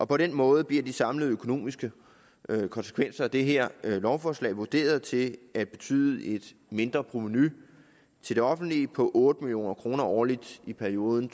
på den måde bliver de samlede økonomiske konsekvenser af det her lovforslag vurderet til at betyde et mindre provenu til det offentlige på otte million kroner årligt i perioden